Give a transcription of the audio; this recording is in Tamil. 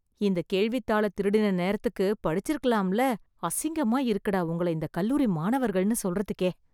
இந்த கேள்வித் தாள திருடின நேரத்துக்கு படிச்சுருக்கலாம்ல, அசிங்கமா இருக்குடா உங்கள இந்தக் கல்லூரி மாணவர்கள்னு சொல்றதுக்கே.